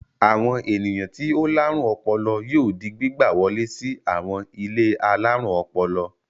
Àwọn ènìyàn tí ó láárùn ọpọlọ yóò di gbígbà wọlé sí àwọn ilé alárùn ọpọlọ.